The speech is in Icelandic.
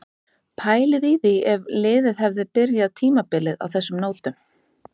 Pælið í því ef liðið hefði byrjað tímabilið á þessum nótum?